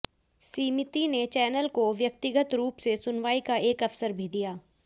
समिति ने चैनल को व्यक्तिगत रूप से सुनवाई का एक अवसर भी दिया